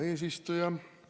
Hea eesistuja!